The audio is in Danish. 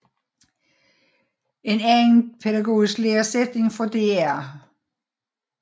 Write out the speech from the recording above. En anden pædagogisk læresætning fra dr